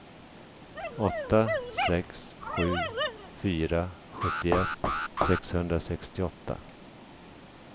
åtta sex sju fyra sjuttioett sexhundrasextioåtta